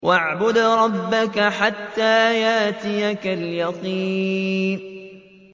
وَاعْبُدْ رَبَّكَ حَتَّىٰ يَأْتِيَكَ الْيَقِينُ